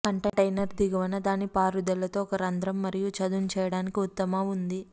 container దిగువన దాని పారుదల తో ఒక రంధ్రం మరియు చదును చేయడానికి ఉత్తమ ఉంది